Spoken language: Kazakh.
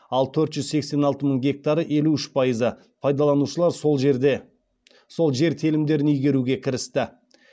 ал төрт жүз сексен алты мың гектары пайдаланушылар сол жер телімдерін игеруге кірісті